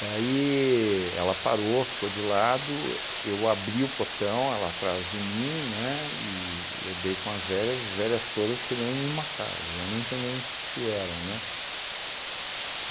Daí ela parou, ficou de lado, eu abri o portão, ela atrás de mim, né, e eu dei com as velhas, as velhas todas querendo me matar, e eu não entendendo o que que era, né.